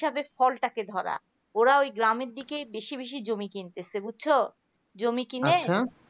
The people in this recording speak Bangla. ফলটাকে ধরা ওরা ওই গ্রামের দিকে বেশি বেশি জমি কিনতেছে বুঝছো জমি কিনে